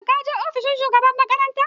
Shin kaje ofishin shugaban makaranta?